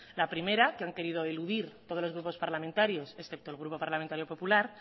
la primera que han querido eludir todos los grupos parlamentarios excepto el grupo parlamentario popular